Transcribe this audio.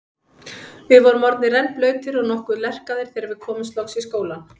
Við vorum orðnir rennblautir og nokkuð lerkaðir þegar við komumst loks í skólann.